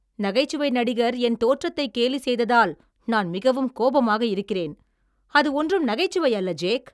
நகைச்சுவை நடிகர் என் தோற்றத்தை கேலி செய்ததால் நான் மிகவும் கோபமாக இருக்கிறேன். அது ஒன்றும் நகைச்சுவையல்ல, ஜேக்.